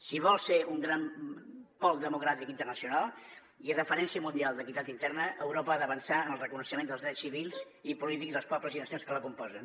si vol ser un gran pol democràtic internacional i referència mun·dial d’equitat interna europa ha d’avançar en el reconeixement dels drets civils i polítics dels pobles i nacions que la componen